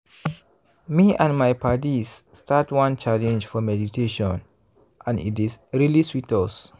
me and my paddies start one challenge for meditationand e dey really sweet.